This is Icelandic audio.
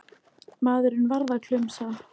Maðurinn varð klumsa.